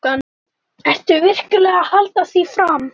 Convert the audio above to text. Ertu virkilega að halda því fram?